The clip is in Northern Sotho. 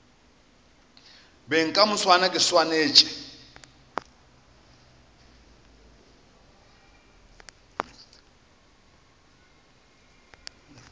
beng ka moswane ke swanetše